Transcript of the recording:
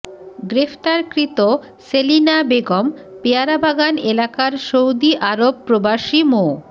গ্রেফতারকৃত সেলিনা বেগম পেয়ারাবাগান এলাকার Saudi Arab প্রবাসী মো